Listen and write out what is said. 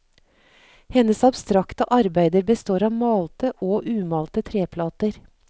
Hennes abstrakte arbeider består av malte og umalte treplater.